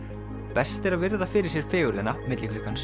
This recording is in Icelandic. best er að virða fyrir sér fegurðina milli klukkan